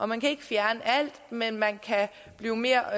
man kan ikke fjerne alt men man kan blive mere